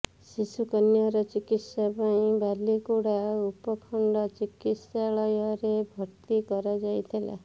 ଶିଶୁକନ୍ୟାର ଚିକିତ୍ସା ପାଇଁ ବାଲିଗୁଡ଼ା ଉପଖଣ୍ଡ ଚିକିତ୍ସାଳୟରେ ଭର୍ତ୍ତି କରାଯାଇଥିଲା